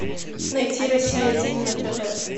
найти россия один на тв